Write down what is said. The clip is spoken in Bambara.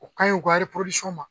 O ka ɲi o ka ma